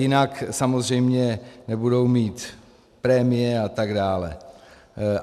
Jinak samozřejmě nebudou mít prémie a tak dále.